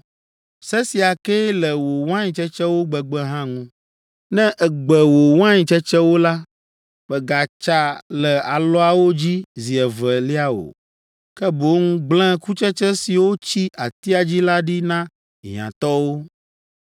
Se sia kee le wò wain tsetsewo gbegbe hã ŋu. Ne ègbe wò wain tsetsewo la, mègatsa le alɔawo dzi zi evelia o, ke boŋ gblẽ kutsetse siwo tsi atia dzi la ɖi na hiãtɔwo.